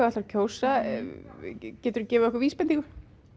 ætlar að kjósa getur þú gefið okkur vísbendingu